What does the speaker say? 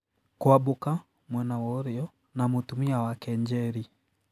Kwambuka ( mwena wa ũrĩo) na mũtumia wake Njeri .